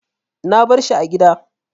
Na bari shi a gida.